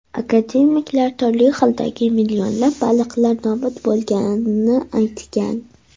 Akademiklar turli xildagi millionlab baliqlar nobud bo‘lganini aytgan.